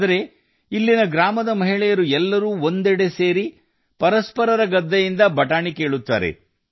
ಆದರೆ ಇಲ್ಲಿ ಹಳ್ಳಿಯ ಹೆಂಗಸರು ಒಂದೆಡೆ ಸೇರಿ ಪರಸ್ಪರರ ಹೊಲಗಳಿಂದ ಅವರೆಕಾಳು ಕೀಳುತ್ತಾರೆ